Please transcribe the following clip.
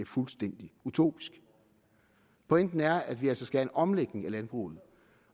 fuldstændig utopisk pointen er at vi altså skal have en omlægning af landbruget